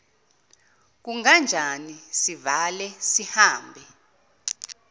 kunganjani sivale sihambe